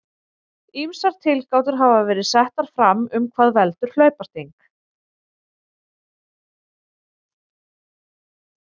Ýmsar tilgátur hafa verið settar fram um hvað veldur hlaupasting.